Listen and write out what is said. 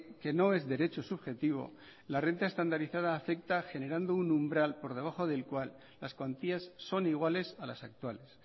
que no es derecho subjetivo la renta estandarizada afecta generando un umbral por debajo del cual las cuantías son iguales a las actuales